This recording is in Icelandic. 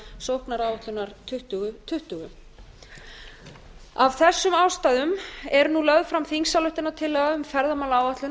sóknaráætlunar tuttugu tuttugu af þessum ástæðum er nú lögð fram þingsályktunartillaga um ferðamálaáætlun